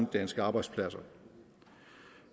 og danske arbejdspladser